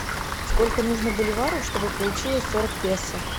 сколько нужно боливаров чтобы получилось сорок песо